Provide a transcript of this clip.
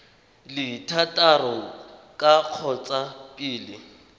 le thataro ka kgotsa pele